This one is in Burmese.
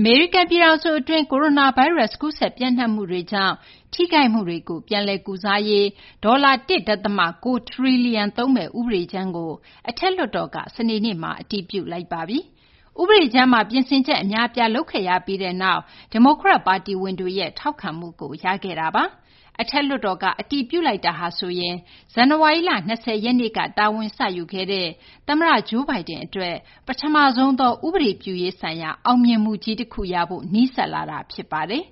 အမေရိကန် ပြည်ထောင်စု အတွင်း ကိုရိုနာဗိုင်းရပ်စ် ကူးစက် ပျံ့နှံ့မှုတွေကြောင့် ထိခိုက်မှုတွေကို ပြန်လည် ကုစားရေး ဒေါ်လာ ၁ ဒသမ ၉ ထရီလီယံ သုံးမယ့် ဥပဒေကြမ်းကို အထက်လွှတ်တော်က စနေနေ့မှာ အတည်ပြုလိုက်ပါပြီ။ ဥပဒေကြမ်းမှာ ပြင်ဆင်ချက် အများအပြား လုပ်ခဲ့ရပြီးနောက်မှာ ဒီမိုကရက် ပါတီဝင်တွေရဲ့ ထောက်ခံမှုကို ရရှိခဲ့တာပါ။ အထက်လွှတ်တော်က အတည်ပြုလိုက်တာဟာဆိုရင် ဇန်နဝါရီလ ၂၀ ရက်နေ့က တာဝန်စယူခဲ့တဲ့ သမ္မတ Joe Biden အတွက် ပထမဆုံးသော ဥပဒေပြုရေး ဆိုင်ရာ အောင်မြင်မှုကြီး တခု ရဖို့ နီးစပ်လာတာ ဖြစ်ပါတယ်။